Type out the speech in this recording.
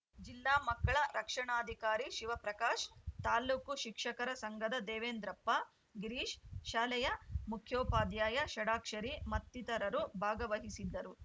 ಜಿಲ್ಲಾ ಮಕ್ಕಳ ರಕ್ಷಣಾಧಿಕಾರಿ ಶಿವಪ್ರಕಾಶ್‌ ತಾಲೂಕು ಶಿಕ್ಷಕರ ಸಂಘದ ದೇವೇಂದ್ರಪ್ಪ ಗಿರೀಶ್‌ ಶಾಲೆಯ ಮುಖ್ಯೋಪಾಧ್ಯಾಯ ಷಡಾಕ್ಷರಿ ಮತ್ತಿತರರು ಭಾಗವಹಿಸಿದ್ದರು